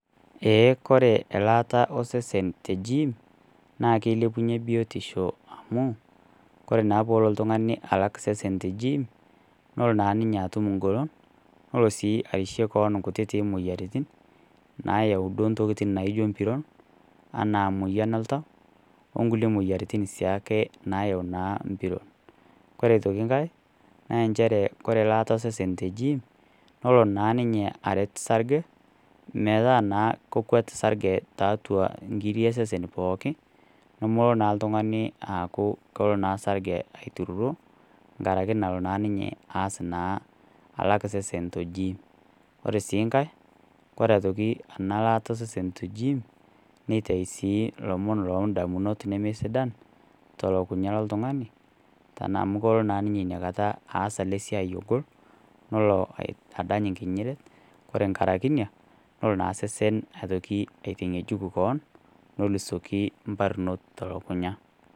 Eeh, ore elaata osesen te jiim, naa keilepunye biotisho amu, kore naa peelo oltung'ani alak sesen te jiim nelo naa ninye atum engolon, nelo sii arishie kewan inkutitik moyiaritin, nayau duo ntokitin naijo mpiron, anaa emoyian oltau, o kulie moyiaritin sii ake naayau naa mpiron. Kore aitoki Kai, naa enchere Kore elaata osesen te jiim, nelo naa ninye aret sarge, metaa naa kekwet sarge tiatua inkiri o sesen pooki, nemelo naa l'tungani aaku kelo naa sarge aitururo enkaraki nalo naa ninye aas naa alak osesen to jiim. Ore sii nkai Kore aitoki ena laata osesen to jiim, neitayu sii ilomon loo indamunot nemesidan to o lukukunya loltung'ani, tanaa amu kelo naa teina kata naa ninye aas alo osiai ogol, nelo adany enkinyinyiret, Kore enkaraki ina, nelo naa sesen aitoki aitang'ejuk kewon, nelo asioki mbarnot to lukunya.